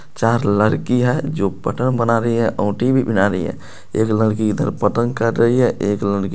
चार लरकी है जो बना रही है और भी बना रही है एक लड़की इधर कर रही है एक लड़की --